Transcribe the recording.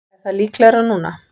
Er það líklegra núna?